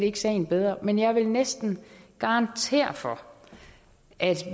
ikke sagen bedre men jeg vil næsten garantere for at